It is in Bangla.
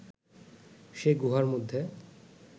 সে গুহার মধ্যে